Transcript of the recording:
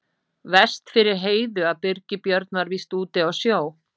Verst fyrir Heiðu að Birgir Björn var víst úti á sjó.